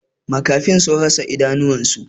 Makafin sun rasa idanunsa.